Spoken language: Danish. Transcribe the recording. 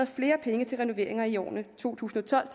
flere penge til renoveringer i årene to tusind og tolv